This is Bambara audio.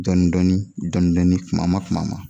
Dɔn dɔɔnin dɔn dɔɔnin tumama tumama